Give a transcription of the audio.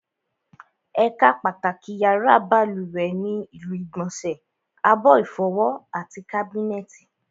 Ẹ̀ka pàtàkì yàrá balùwẹ̀ ni ilu ìgbọ̀nsẹ̀, abọ́ ìfọwọ́, àti kábínẹ̀tì